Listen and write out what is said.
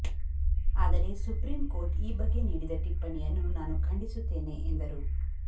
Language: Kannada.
ಆದರೆ ಸುಪ್ರೀಂ ಕೋರ್ಟ್ ಈ ಬಗ್ಗೆ ನೀಡಿದ ಟಿಪ್ಪಣೆಯನ್ನು ನಾನು ಖಂಡಿಸುತ್ತೇನೆ ಎಂದರು